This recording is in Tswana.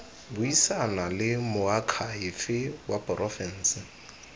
buisana le moakhaefe wa porofense